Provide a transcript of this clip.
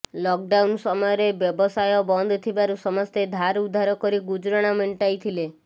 lockdown ସମୟରେ ବ୍ୟବସାୟ ବନ୍ଦ ଥିବାରୁ ସମସ୍ତେ ଧାରଉଧାର କରି ଗୁଜରାଣ ମେଣ୍ଟାଇଥିଲେ